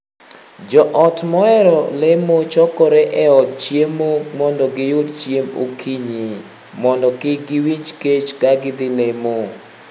Joot mohero lemo chokore e od chiemo mondo giyud chiemb okinyi, mondo kik giwinj kech ka gidhii lemo.